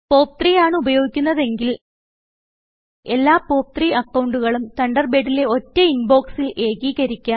പോപ്പ്3 ആണ് ഉപയോഗിക്കുന്നതെങ്കിൽ എല്ലാ പോപ്പ്3 അക്കൌണ്ടുകളും തണ്ടർബേഡിലെ ഒറ്റ ഇൻബൊക്സിൽ ഏകീകരിക്കാം